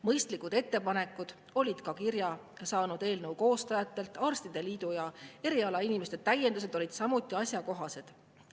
Mõistlikud ettepanekud olid kirja saanud eelnõu koostajatelt, arstide liidu ja erialainimeste täiendused olid samuti asjakohased.